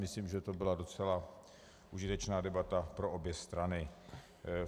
Myslím, že to byla docela užitečná debata pro obě strany.